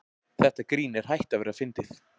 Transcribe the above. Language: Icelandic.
Þetta grín er hætt að vera fyndið.